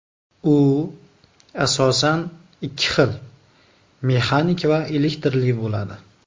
U asosan ikki xil mexanik va elektrli bo‘ladi.